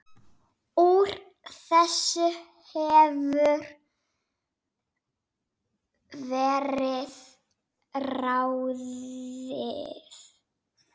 Úr þessu hefur verið ráðið